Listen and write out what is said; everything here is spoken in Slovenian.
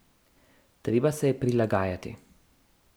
Treba se je prilagajati.